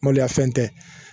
Maloya fɛn tɛ